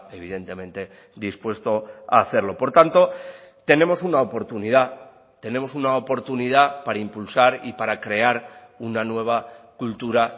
evidentemente dispuesto a hacerlo por tanto tenemos una oportunidad tenemos una oportunidad para impulsar y para crear una nueva cultura